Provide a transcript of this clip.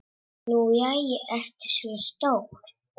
Nú jæja, ertu svona stór.